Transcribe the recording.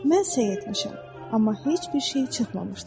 Mən səy etmişəm, amma heç bir şey çıxmamışdır.